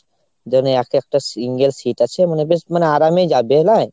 যেমন এক একটা single seat আছে ,মানে বেশ মানে আরামেই যাবে না ?